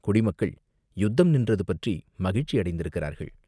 குடி மக்கள் யுத்தம் நின்றது பற்றி மகிழ்ச்சி அடைந்திருக்கிறார்கள்.